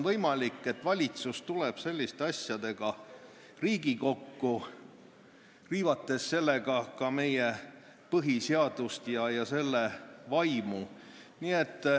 Valitsus riivab sellega ka meie põhiseadust ja selle vaimu.